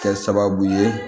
Kɛ sababu ye